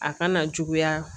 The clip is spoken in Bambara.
A kana juguya